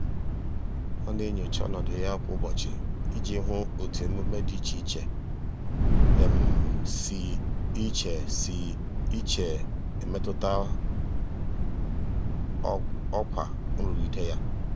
ọ na-enyocha ọnọdụ ya kwa ụbọchị iji hụ otu omume dị iche iche si iche si e metụta ọkwa um nrụgide ya.